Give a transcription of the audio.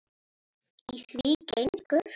Í því gengur